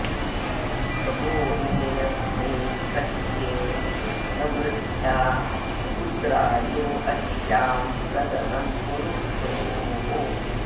भगो मे अग्ने सख्ये न मृध्या उद्रायो अश्यां सदनं पुरुक्षोः